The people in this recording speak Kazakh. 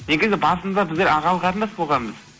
негізі басында біздер ағалы қарындас болғанбыз